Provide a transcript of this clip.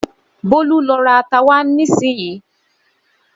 Bólú lọ ra ata wá nísinsìnyí.